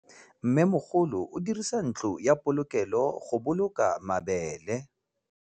Mmêmogolô o dirisa ntlo ya polokêlô, go boloka mabele.